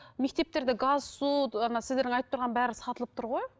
мектептерді газ су ана сіздердің айтып тұрған бәрі сатылып тұр ғой